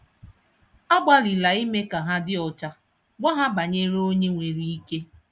Agbalịla ime ka ha dị ọcha, gwa ha banyere Onye nwere ike.